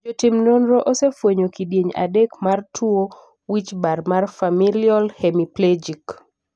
jotim nonro osefwenyo kidienje adek mar tuo wichbar mar familial hemiplegic